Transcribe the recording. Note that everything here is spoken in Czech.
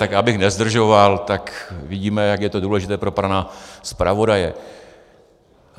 Tak abych nezdržoval, tak vidíme, jak je to důležité pro pana zpravodaje.